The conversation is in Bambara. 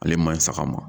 Ale man ɲi saga ma